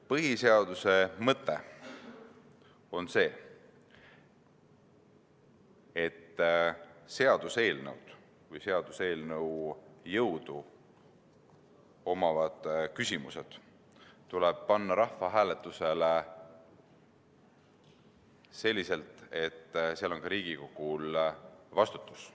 Põhiseaduse mõte on see, et seaduseelnõud või seaduseelnõu jõudu omavad küsimused tuleb panna rahvahääletusele selliselt, et nendega kaasneks ka Riigikogu vastutus.